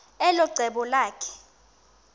elo cebo lakhe